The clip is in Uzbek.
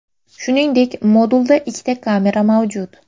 Shuningdek, modulda ikkita kamera mavjud.